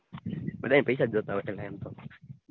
બધાય ને પૈસા જ જોતાં હોય છે